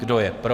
Kdo je pro?